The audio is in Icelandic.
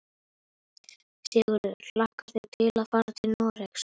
Sigurður: Hlakkar þig til að fara til Noregs?